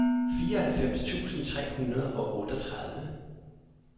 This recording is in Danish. fireoghalvfems tusind tre hundrede og otteogtredive